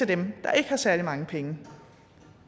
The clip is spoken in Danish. dem der ikke har særlig mange penge